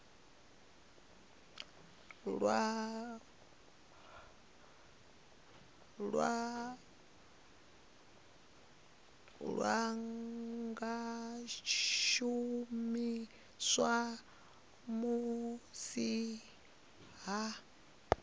lwa nga shumiswa musi hu